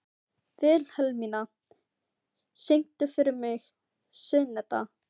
Vilhelmína, syngdu fyrir mig „Syneta“.